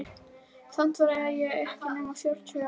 Samt var ég ekki nema fjórtán ára.